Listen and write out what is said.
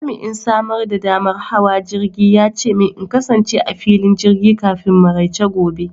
Jami'in samar da damar hawa jirgi ya ce min in kasance a filin jirgi kafin maraice gobe.